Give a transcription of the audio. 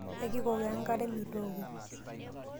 Yaki kokoo enkare metooko.